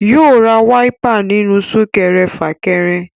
Yóò ra wáípà nínú súkẹrẹ fàkẹrẹ